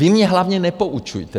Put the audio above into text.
Vy mně hlavně nepoučujte.